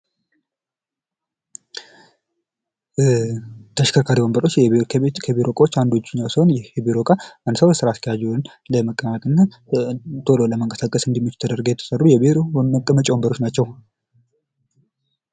ተሽከርካሪ ወንበሮች ከቤት እና ከቢሮ እቃዎች አንደኛው ሲሆን ይህ የቢሮ ዕቃ አንድ ስራ አስኪያጅ ለመቀመጥ ወይም ቶሎ ለመንቀሳቀስ እንዲመች ተደርገው የተሰሩ የቢሮ መቀመጫዎች ናቸው።